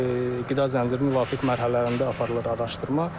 Qida zəncirinin müvafiq mərhələlərində aparılır araşdırma.